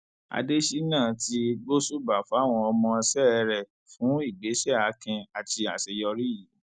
adésínà ti gbóṣùbà fáwọn ọmọọṣẹ rẹ fún ìgbésẹ akin àti àṣeyọrí yìí